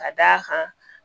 Ka d'a kan